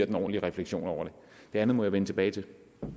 en ordentlig refleksion det andet må jeg vende tilbage til